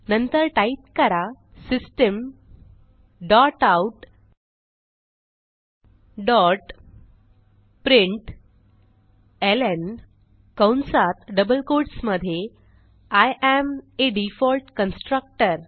नंतर टाईप करा system dot out dot println कंसात डबल कोट्स मधे I am a default constructor